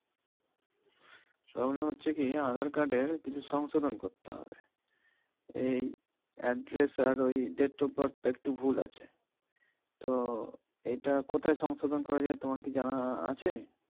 problem হচ্ছে কি Aadhaar card এ কিছু সংশোধন করতে হবে এই address আর এই date of birth টা একটু ভুল আছে তো এটা কোথায় সংশোধন করা যায় তোমার কি জানা আছে?